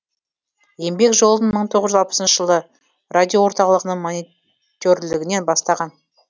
еңбек жолын мың тоғыз жүз алпысыншы жылы радиоорталығының моне терлігінен бастаған